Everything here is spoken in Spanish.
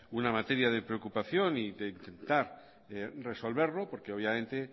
una materia de preocupación y de intentar resolverlo porque obviamente